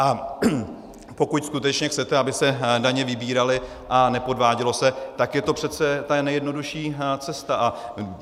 A pokud skutečně chcete, aby se daně vybíraly a nepodvádělo se, tak je to přece ta nejjednodušší cesta.